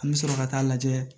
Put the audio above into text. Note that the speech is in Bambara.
An bɛ sɔrɔ ka taa lajɛ